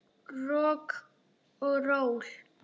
Rokk og ról.